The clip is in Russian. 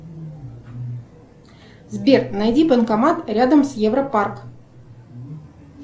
сбер найди банкомат рядом с европарк